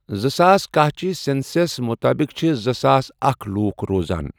زٕساس کاہ چیہٕ سینسس مُطابق چھ زٕساس اکھَ لۄکھ روزان۔